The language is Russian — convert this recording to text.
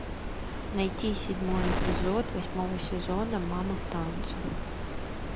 найти седьмой эпизод восьмого сезона мамы в танце